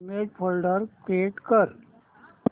image folder create कर